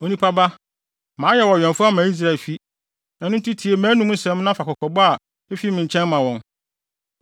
“Onipa ba, mayɛ wo ɔwɛmfo ama Israelfi, ɛno nti tie mʼanom nsɛm na fa kɔkɔbɔ a efi me nkyɛn ma wɔn.